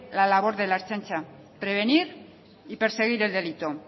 la labor de la ertzaintza prevenir y perseguir el delito